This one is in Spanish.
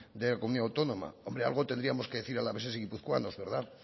de la comunidad autónoma hombre algo tendríamos que decir alaveses y guipuzcoanos